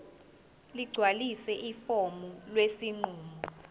ligcwalise ifomu lesinqumo